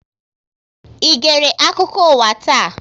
Ị gère akụkọ ụwa taa?